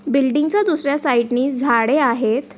Building च्या दुसर्यऱ्या side नि झाडे आहेत.